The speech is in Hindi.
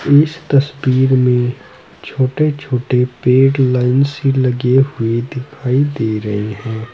इस तस्वीर में छोटे छोटे पेड़ लाइन से लगे हुए दिखाई दे रहे हैं।